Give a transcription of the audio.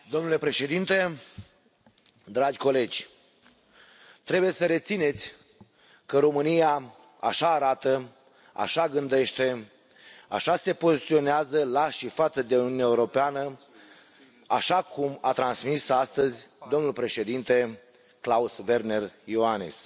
Domnule Președinte, dragi colegi, trebuie să rețineți că România așa arată, așa gândește, așa se poziționează la și față de Uniunea Europeană, așa cum a transmis astăzi domnul președinte Klaus Werner Iohannis.